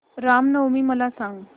राम नवमी मला सांग